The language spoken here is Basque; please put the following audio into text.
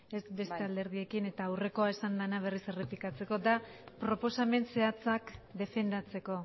ez beste alderdiekin eta aurrekoa esan dena berriz errepikatzeko da proposamen zehatzak defendatzeko